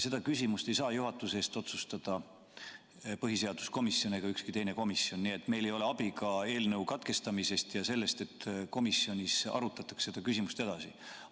Seda küsimust ei saa juhatuse eest otsustada põhiseaduskomisjon ega ükski teine komisjon, nii et meil ei ole abi ka eelnõu katkestamisest ja sellest, et komisjonis arutatakse seda küsimust edasi.